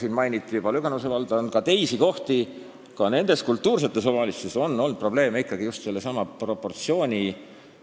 Siin mainiti juba Lüganuse valda ja on ka teisi selliseid kohti, ka nendes nn kultuursetes omavalitsustes on olnud probleeme ikkagi just sellesama proportsiooni tõlgendamise ja järgimisega.